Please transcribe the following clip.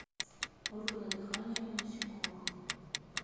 органы дыхания у насекомых